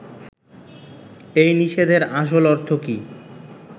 এই নিষেধের আসল অর্থ কী